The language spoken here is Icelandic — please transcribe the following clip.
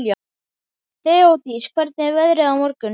Þeódís, hvernig er veðrið á morgun?